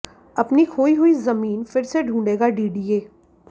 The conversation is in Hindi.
अपनी खोई हुई जमीन फिर से ढूंढेगा डीडीए